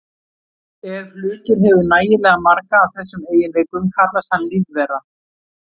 Ef hlutur hefur nægilega marga af þessum eiginleikum kallast hann lífvera.